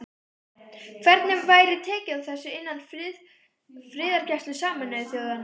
Hvernig væri tekið á þessu innan friðargæslu Sameinuðu þjóðanna?